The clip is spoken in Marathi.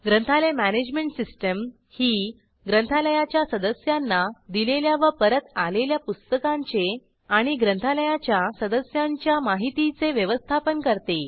ग्रंथालय मॅनेजमेंट सिस्टीम ही ग्रंथालयाच्या सदस्यांना दिलेल्या व परत आलेल्या पुस्तकांचे आणि ग्रंथालयाच्या सदस्यांच्या माहितीचे व्यवस्थापन करते